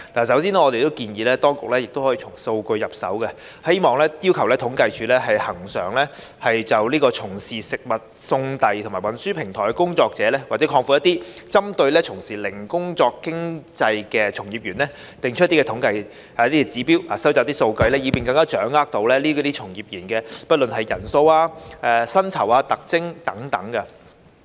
首先，我們建議當局可以從數據入手，要求政府統計處恆常就"從事食物送遞及運輸的平台工作者"，或廣闊一點，針對"從事零工經濟從業員"定期作出統計和指標，收集數據，以便更能掌握這類從業員的人數、薪酬、特徵等。